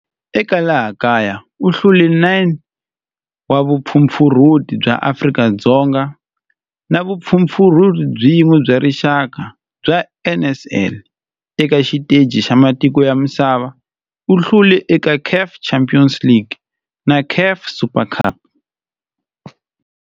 Eka laha kaya u hlule 9 wa vumpfampfarhuti bya Afrika-Dzonga na vumpfampfarhuti byin'we bya rixaka bya NSL. Eka xiteji xa matiko ya misava, u hlule eka CAF Champions League na CAF Super Cup.